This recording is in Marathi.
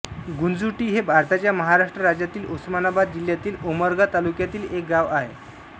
गुंजोटी हे भारताच्या महाराष्ट्र राज्यातील उस्मानाबाद जिल्ह्यातील उमरगा तालुक्यातील एक गाव आहे